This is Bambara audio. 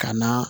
Ka na